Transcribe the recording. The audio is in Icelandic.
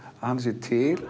að hann sé til